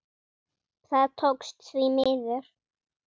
Það tókst, því miður.